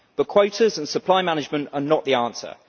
But quotas and supply management are not the answer.